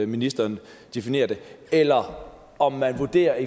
ministeren definerer det eller om om man vurderer at